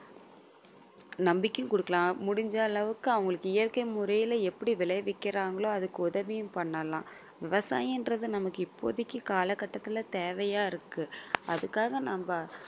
நம்பிக்கையும் குடுக்கலாம் முடிஞ்ச அளவுக்கு அவங்களுக்கு இயற்கை முறையில எப்படி விளைவிக்குறாங்களோ அதுக்கு உதவியும் பண்ணலாம் விவசாயம் என்றது நமக்கு இப்போதைக்கு காலகட்டத்துல தேவையா இருக்கு. அதுக்காக நம்ம